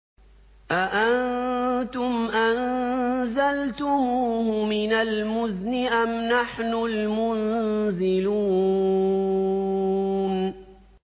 أَأَنتُمْ أَنزَلْتُمُوهُ مِنَ الْمُزْنِ أَمْ نَحْنُ الْمُنزِلُونَ